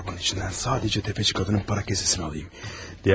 Torbanın içindən sadəcə tefəçi qadının para kəsəsinə alım.